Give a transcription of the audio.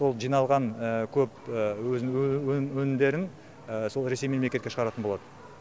сол жиналған көп өнімдерін сол ресей мемлекетке шығаратын болады